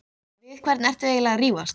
Við hvern ertu eiginlega að rífast?